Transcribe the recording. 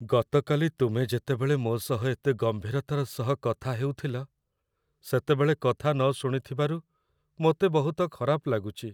ଗତକାଲି ତୁମେ ଯେତେବେଳେ ମୋ ସହ ଏତେ ଗମ୍ଭୀରତାର ସହ କଥା ହେଉଥିଲ, ସେତେବେଳେ କଥା ନ ଶୁଣିଥିବାରୁ ମୋତେ ବହୁତ ଖରାପ ଲାଗୁଛି।